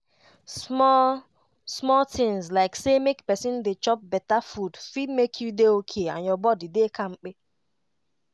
small-small tinz like say make pesin dey chop beta food fit make you dey okay and your body dey kampe.